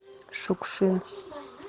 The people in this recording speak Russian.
шукшин